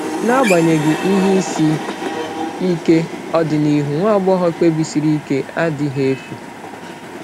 N’agbanyeghị ihe isi ike, ọdịnihu nwa agbọghọ kpebisiri ike a adịghị efu.